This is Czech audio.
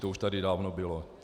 To už tady dávno bylo.